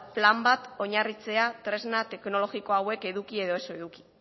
plan bat oinarritzea tresna teknologiko hauek eduki edo ez eduki